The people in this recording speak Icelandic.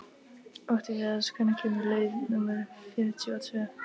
Oktavías, hvenær kemur leið númer fjörutíu og tvö?